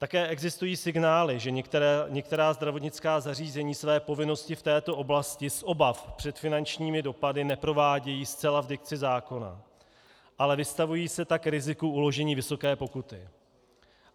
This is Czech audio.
Také existují signály, že některá zdravotnická zařízení své povinnosti v této oblasti z obav před finančními dopady neprovádějí zcela v dikci zákona, ale vystavují se tak riziku uložení vysoké pokuty.